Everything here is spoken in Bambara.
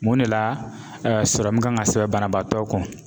Mun de la kan ka sɛbɛn banabaatɔ kɔ